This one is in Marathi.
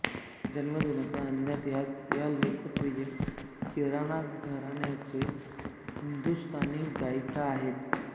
जन्मदिनांक अज्ञात हयात या लोकप्रिय किराणा घराण्याचे हिंदुस्तानी गायिका आहेत